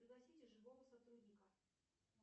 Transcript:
пригласите живого сотрудника